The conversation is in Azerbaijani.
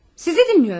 Sizi dinləyirəm.